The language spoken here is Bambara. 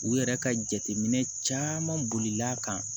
U yɛrɛ ka jateminɛ caman bolila kan